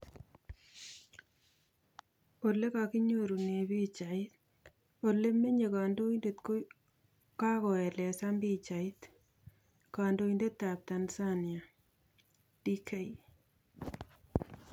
Ole kokinyorune pichaik, ole menye kandoindet ko kagoelezan pichait, kandoindet ap Tnanzania, Dk